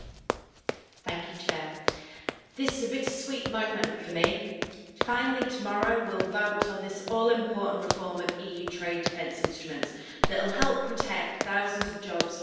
Mr President, this is a bittersweet moment for me. Finally, tomorrow we will vote on this all important reform of EU trade defence instruments that will help protect thousands of jobs all across Europe.